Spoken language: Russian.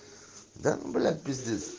да бля пиздец